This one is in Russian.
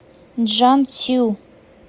чжанцю